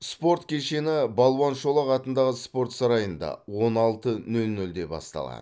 спорт кешені балуан шолақ атындағы спорт сарайында он алты нөл нөлде басталады